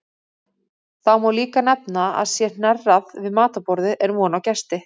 Þá má líka nefna að sé hnerrað við matarborðið er von á gesti.